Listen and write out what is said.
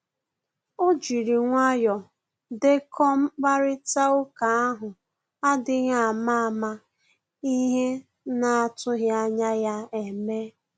O jiri nwayọ dekọ mkparịta ụka ahụ adịghị ama ama ihe na-atughi anya ya eme.